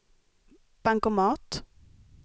bankomat